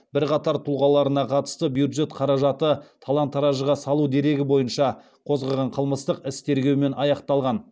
бірқатар тұлғаларына қатысты бюджет қаражатты талан таражға салу дерегі бойынша қозғаған қылмыстық іс тергеумен аяқталған